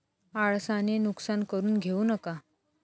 आळसाने नुकसान करून घेऊ नका.